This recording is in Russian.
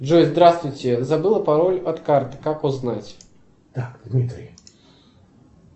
джой здравствуйте забыла пароль от карты как узнать